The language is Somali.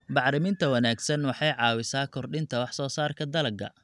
Bacriminta wanaagsan waxay caawisaa kordhinta wax soo saarka dalagga.